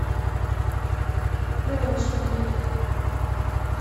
прочный